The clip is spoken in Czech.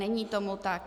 Není tomu tak.